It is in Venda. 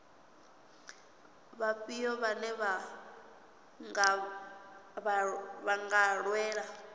vhafhio vhane vha nga lwela